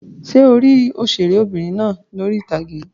Ṣé o rí òṣèré'bìnrin náà lórí ìtàgé?